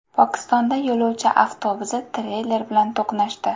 Pokistonda yo‘lovchi avtobusi treyler bilan to‘qnashdi.